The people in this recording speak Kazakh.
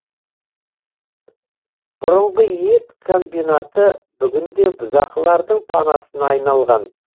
бұрынғы ет комбинаты бүгінде бұзақылардың панасына айналған